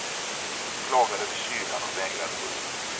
De klagade över kylan och vägrade gå ut.